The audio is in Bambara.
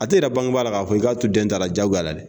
A tɛ yira bangebaa la k'a fɔ i k'a to den ta la diyagoya la dɛ